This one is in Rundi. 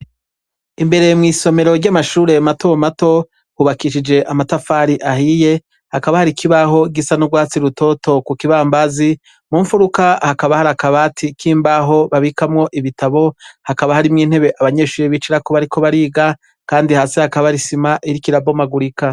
Imbere mw'isomero ry'amashureye mato mato hubakishije amatafari ahiye hakaba hari ikibaho igisa n'urwatsi rutoto ku kibambazi mumfuruka hakaba hari akabati kimbaho babikamwo ibitabo hakaba harimwo intebe abanyeshuri bicara kuba, ariko bariga, kandi hasi hakaba arisima irikirabomagurika.